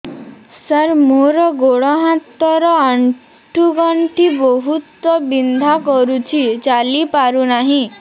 ସାର ମୋର ଗୋଡ ହାତ ର ଆଣ୍ଠୁ ଗଣ୍ଠି ବହୁତ ବିନ୍ଧା କରୁଛି ଚାଲି ପାରୁନାହିଁ